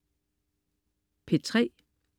P3: